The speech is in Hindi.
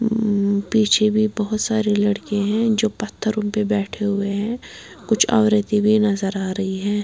हम्म पीछे भी बहुत सारे लड़के हैं जो पत्थरों में बैठे हुए हैं कुछ औरतें भी नजर आ रही है।